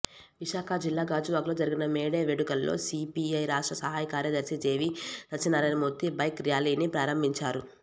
విశాఖ జిల్లా గాజువాకలో జరిగిన మేడే వేడుకలలో సీపీఐ రాష్ట్ర సహాయ కార్యదర్శి జేవీ సత్యనారాయణమూర్తి బైక్ ర్యాలీని ప్రారంభించారు